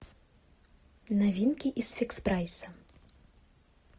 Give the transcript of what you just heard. новинки из фикс прайса